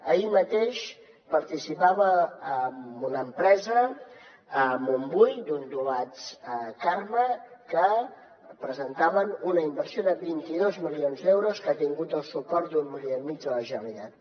ahir mateix participava en una empresa a montbui ondulats carme que presentaven una inversió de vint dos milions d’euros que ha tingut el suport d’un milió i mig de la generalitat